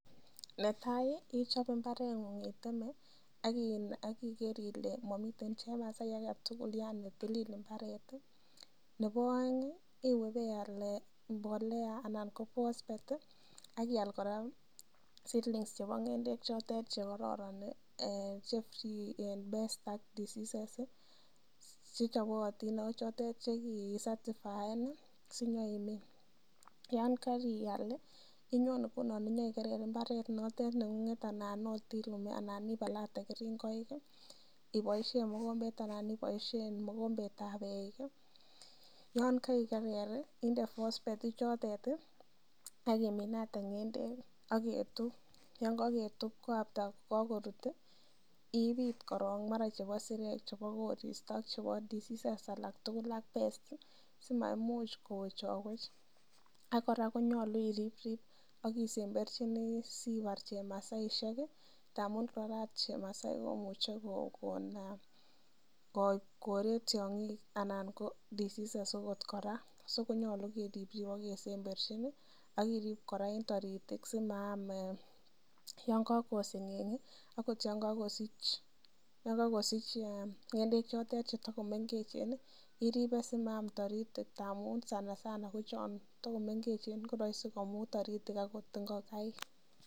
Netai ichope mbareng'ung iteme ak igere ile momiten chemasai age tugul yani tilil mbaret, nebo oeng iwe ibe ial mbolea anan ko phosphate ak ial kora seedlings chebo ng'endekchotet che kororon che motinye pests ak diseases chechobotin ago chotet che kisatifaen sinyoimin. Yan karial inyon ngunon inyoikerer mbaret notet neng'ung'et anan ot ibalate keringonik iboishen mogombet anan iboishen mogombet ab eik yon kaikerer inde phosphate ichotet ak iminate ng'endek ak ketup yon ko ketup ko after kokorut ibit koroong mara chebo isirek, chebo korsito, chepo diseases alak tugul ak pests simaimuch kowechowech. Ak kora konyolu irip rip ak isemberchini sibar chemasaishek ngamun mara ot chemasai komuche korek tiong'ik anan ko diseases agot kora. So konyolu keripripe ak ksemberjin ak irip kora en toritik simaam yon kogoseng'eng agot yon kogosich ng'endek chotet che togomengechen iripe asimaam toritik ngamun sanasana kochon togomengechen koroisi komut toritik agot ingokaik.